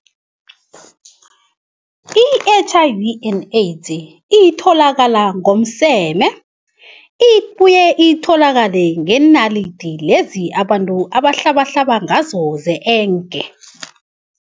I-H_I_V and AIDS itholakala ngomseme, ibuye itholakale ngeenalidi lezi abantu abahlabahlaba ngazo ze-enke.